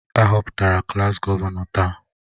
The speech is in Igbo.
A họpụtara klaas gọvanọ taa